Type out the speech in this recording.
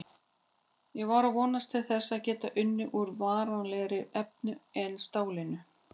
Ég var að vonast til þess að geta unnið úr varanlegra efni en stálinu.